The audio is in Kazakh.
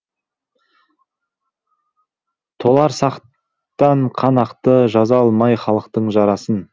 толарсақтан қан ақты жаза алмай халқың жарасын